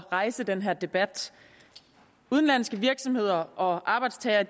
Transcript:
rejse den her debat udenlandske virksomheder og arbejdstagere